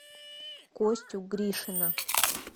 костю гришина